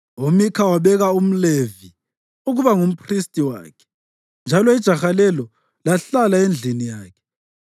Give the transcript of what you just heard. UMikha wabeka umLevi ukuba ngumphristi wakhe, njalo ijaha lelo lahlala endlini yakhe.